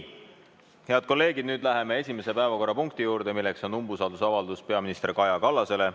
Head kolleegid, nüüd läheme esimese päevakorrapunkti juurde, milleks on umbusalduse avaldamine peaminister Kaja Kallasele.